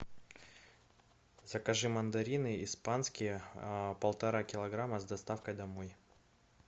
закажи мандарины испанские полтора килограмма с доставкой домой